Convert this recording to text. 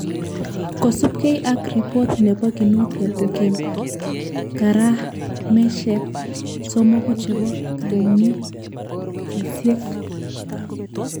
Kosupkei ak ripot nepo Kinuthia kokimi. garameshek somoku chepo kanetishet